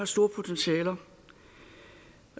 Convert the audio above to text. stort potentiale og